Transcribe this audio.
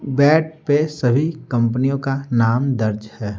Bat पे सभी कंपनियों का नाम दर्ज है।